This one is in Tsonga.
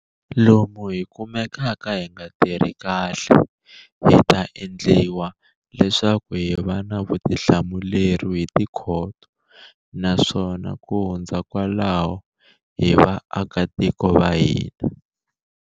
Lomu hi kumekaka hi nga tirhi kahle, hi ta endliwa leswaku hi va na vutihlamuleri hi tikhoto, naswona ku hundza kwalaho, hi vaakitiko va hina.